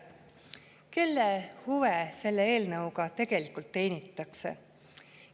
Kelle huve selle eelnõuga tegelikult teenitakse?